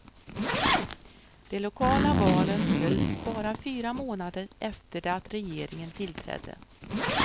De lokala valen hölls bara fyra månader efter det att regeringen tillträdde.